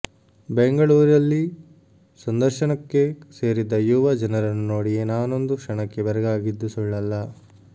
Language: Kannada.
ಬೆಂಗಳೂರಲ್ಲಿ ಸಂದರ್ಶನ ಕ್ಕೆ ಸೇರಿದ್ದ ಯುವ ಜನರನ್ನು ನೋಡಿಯೇ ನಾನೊಂದು ಕ್ಷಣಕ್ಕೆ ಬೆರಗಾಗಿದ್ದು ಸುಳ್ಳಲ್ಲ